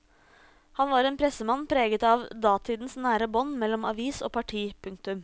Han var en pressemann preget av datidens nære bånd mellom avis og parti. punktum